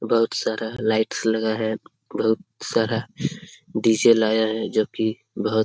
बहुत सारा लाइट्स लगा है। बहुत सारा डी.जे. लाया है जो कि बहोत --